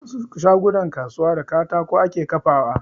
Wasu shagunan kasuwa da katako ake kafawa